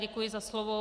Děkuji za slovo.